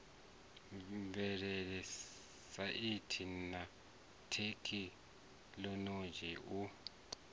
mvelele saintsi na thekhinoḽodzhi u